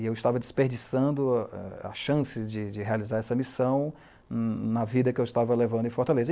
E eu estava desperdiçando a chance de realizar essa missão na vida que eu estava levando em Fortaleza.